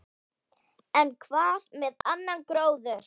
En hvað með annan gróður?